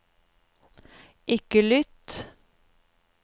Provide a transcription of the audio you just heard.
ikke lytt